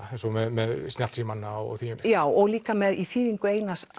með snjallsímana já og líka með þýðingu